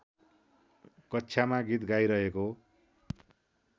कक्षामा गीत गाइरहेको